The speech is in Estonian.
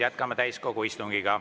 Jätkame täiskogu istungit.